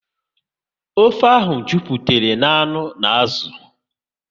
Ofe ahụ jupụtara na anụ n'azụ